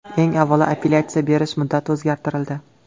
Eng avvalo, apellyatsiya berish muddati o‘zgartirildi.